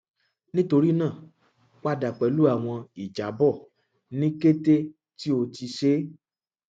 nitorinaa pada pẹlu awọn ijabọ ni kete ti o ti ṣe